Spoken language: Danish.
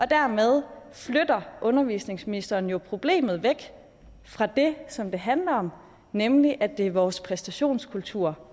dermed flytter undervisningsministeren jo problemet væk fra det som det handler om nemlig at det er vores præstationskultur